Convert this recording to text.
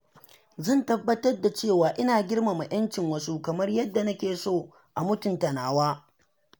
Zan tabbatar da cewa ina girmama 'yan cin wasu kamar yadda nake son a mutunta nawa.